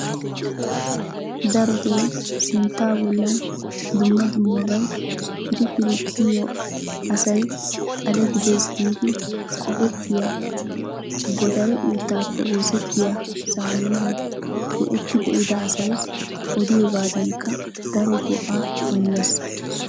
darotoo sintta bollan dumma dummabay pir-pir kiyyiyo asayyo xale gidees giidi qopettiya godare uuttappe oosettiya saamunay go''etti be''ida asay odiyoogadankka daro go''a immees.